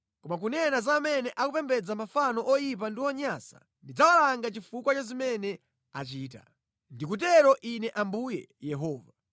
Koma kunena za amene akupembedza mafano oyipa ndi onyansa, ndidzawalanga chifukwa cha zimene achita. Ndikutero Ine Ambuye Yehova.”